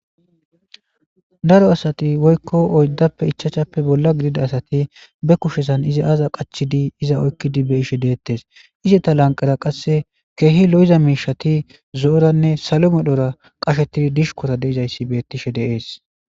daro asati woykko oyddappe ichachappe bolla gidida asati be kushesan izi aaza qachidi iza oykkidi be ishe deettes iseta lanqera qasse keehi lo7iza miishati zo7oranne salo medhora qashetidi dishukota deizayssi bettishe deees